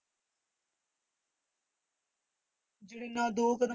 ਜਿਹੜੇ ਨਾ ਦੋ ਕਦਮ